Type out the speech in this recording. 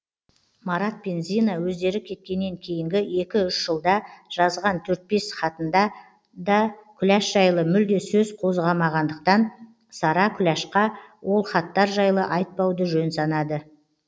марат пен зина өздері кеткеннен кейінгі екі үш жылда жазған төрт бес хатында да күләш жайлы мүлде сөз қозғамағандықтан сара күләшқа ол хаттар жайлы айтпауды жөн санады